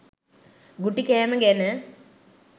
ගුටි කෑම ගැන